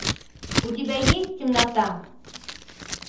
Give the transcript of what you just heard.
у тебя есть темнота